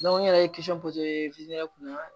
n yɛrɛ ye kunna